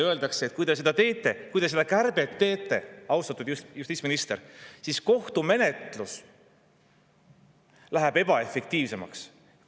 Aga seal öeldakse, et kui te selle kärpe teete, austatud justiitsminister, siis kohtumenetlus läheb ebaefektiivsemaks.